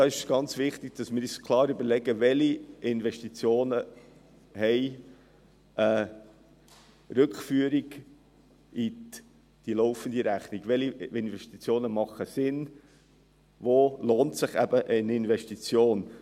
Es ist ganz wichtig, dass wir uns überlegen, welche Investitionen etwas in die laufende Rechnung zurückführen, welche Investitionen sinnvoll sind und welche sich lohnen.